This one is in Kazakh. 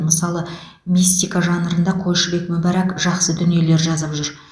мысалы мистика жанрында қойшыбек мүбәрак жақсы дүниелер жазып жүр